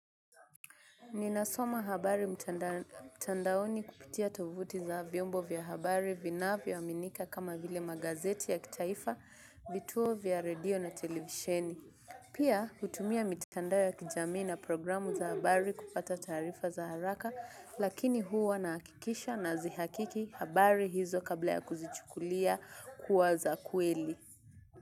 Ninasoma habari mtandaoni kupitia tovuti za viombo vya habari vinavyo aminika kama vile magazeti ya kitaifa, vituo vya radio na televisheni. Pia hutumia mitandao ya kijamii na programu za habari kupata taarifa za haraka, lakini huwa nahakikisha nazihakiki habari hizo kabla ya kuzichukulia kuwa za kweli.